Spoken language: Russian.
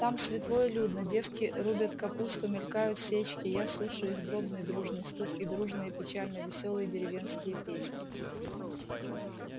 там светло и людно девки рубят капусту мелькают сечки я слушаю их дробный дружный стук и дружные печально-весёлые деревенские песни